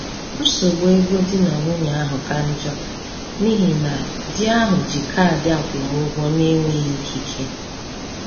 Nsogbu ego di na nwunye ahụ ka njọ n’ihi na di ahụ ji kaadị akwụmụgwọ n’enweghị ikike.